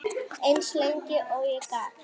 Eins lengi og ég gat.